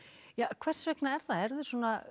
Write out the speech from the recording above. hvers vegna er það